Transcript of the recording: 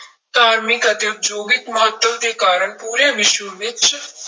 ਧਾਰਮਿਕ ਅਤੇ ਉਦਯੋਗਿਕ ਮਹੱਤਵ ਦੇ ਕਾਰਨ ਪੂਰੇ ਵਿਸ਼ਵ ਵਿੱਚ